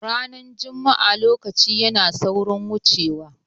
Ranar juma'a lokaci yana saurin wuce wa